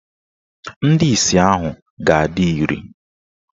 Ndị isi ahụ ga-adị iri.